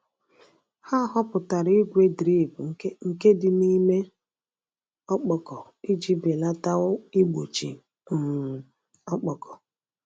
Ha họpụtara igwe drip nke dị n’ime ọkpọkọ iji belata igbochi um ọkpọkọ.